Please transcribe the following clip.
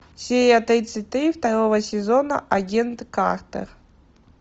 серия тридцать три второго сезона агент картер